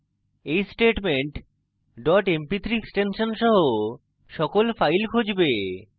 এই statement dot mp3 extension সহ সকল files খুঁজবে